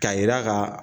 K'a yira ka